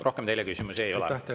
Rohkem teile küsimusi ei ole.